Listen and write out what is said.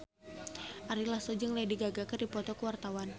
Ari Lasso jeung Lady Gaga keur dipoto ku wartawan